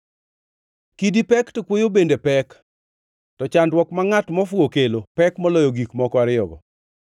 Kidi pek to kuoyo bende pek, to chandruok ma ngʼat mofuwo kelo pek moloyo gik moko ariyogo.